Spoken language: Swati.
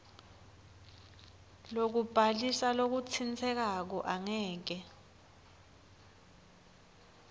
lokubhalisa lokutsintsekako angeke